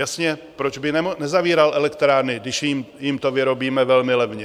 Jasně, proč by nezavíral elektrárny, když jim to vyrobíme velmi levně?